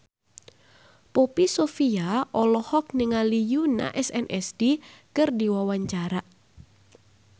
Poppy Sovia olohok ningali Yoona SNSD keur diwawancara